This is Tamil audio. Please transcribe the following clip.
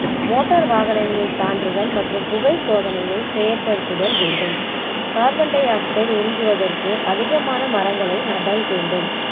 மோட்டார் வாகனங்களின் சான்றிதழ் மற்றும் புகை சோதனையை செயல் படுத்துதல் வேண்டும் carbon di-oxide உறிஞ்சுவதற்கு அதிகமான மரங்களை நடல் வேண்டும்